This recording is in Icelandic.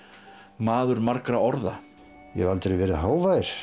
maður margra orða ég hef aldrei verið hávær